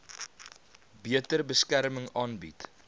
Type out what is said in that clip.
beter beskerming aanbied